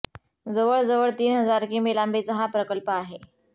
जवळजवळ तीन हजार किमी लांबीचा हा प्रकल्प आहे